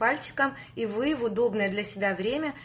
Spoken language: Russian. пальчиком и вы в удобное для себя время